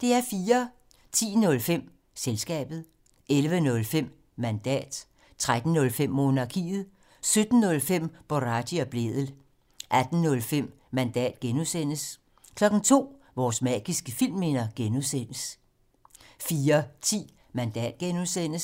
10:05: Selskabet 11:05: Mandat 13:05: Monarkiet 17:05: Boraghi og Blædel 18:05: Mandat (G) 02:00: Vores magiske filmminder (G) 04:10: Mandat (G) 05:05: Fremkaldt (G)